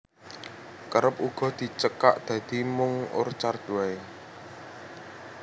Kerep uga dicekak dadi mung Orchard waé